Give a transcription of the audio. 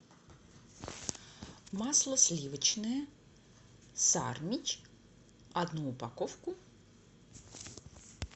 масло сливочное сармич одну упаковку